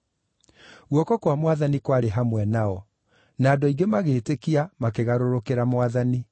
Guoko kwa Mwathani kwarĩ hamwe nao; na andũ aingĩ magĩĩtĩkia makĩgarũrũkĩra Mwathani.